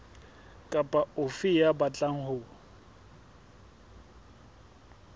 kapa ofe ya batlang ho